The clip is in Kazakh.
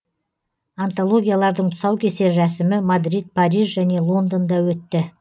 антологиялардың тұсаукесер рәсімі мадрид париж және лондонда өтті